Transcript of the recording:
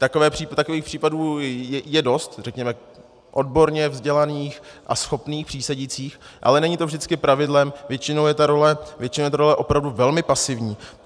Takových případů je dost, řekněme odborně vzdělaných a schopných přísedících, ale není to vždycky pravidlem, většinou je ta role opravdu velmi pasivní.